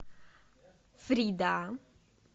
фрида